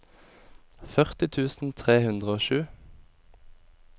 førti tusen tre hundre og sju